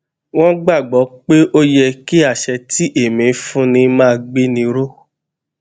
wón gbà gbó pé ó yẹ kí àṣẹ tí èmí fúnni máa gbéni ró